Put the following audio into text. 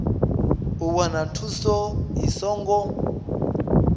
u wana thuso i songo